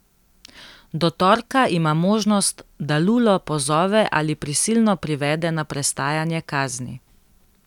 Do torka ima možnost, da Lulo pozove ali prisilno privede na prestajanje kazni.